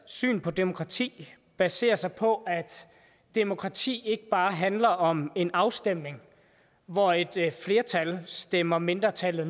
syn på demokrati baserer sig på at demokrati ikke bare handler om en afstemning hvor et flertal stemmer mindretallet